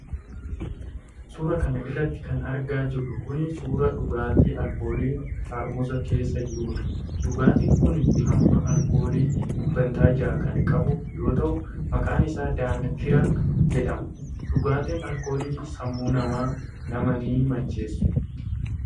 Suura kana irratti kan argaa jirru kun ,suura dhugaatii alkoolii xaarmuza keessa jirudha. Dhugaatiin kun hamma alkoolii dhibbeentaa jaha kan qabu yoo ta'u, maqaan isaa Daankiraa jedhama. Dhugaatin alkoolii, sammuu namaa namaa ni macheessu.